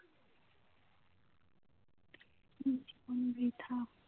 জীবন বৃথা